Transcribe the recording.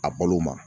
A balo ma